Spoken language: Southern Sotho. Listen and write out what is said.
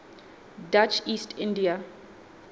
dutch east india